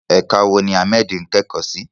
Ẹ̀ka wo ni Ahmed ń kẹ́kọ̀ọ́ sí?